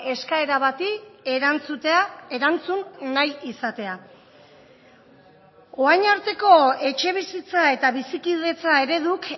eskaera bati erantzutea erantzun nahi izatea orain arteko etxebizitza eta bizikidetza ereduk